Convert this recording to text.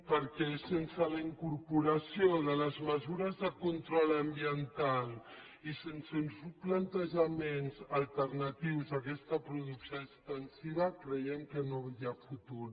perquè sense la incorporació de les mesures de control ambiental i sense uns plantejaments alternatius a aquesta producció extensiva creiem que no hi ha futur